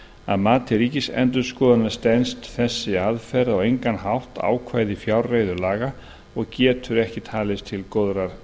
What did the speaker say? að mati ríkisendurskoðunar stenst þessi aðferð á engan hátt ákvæði fjárreiðulaga og getur ekki talist til góðrar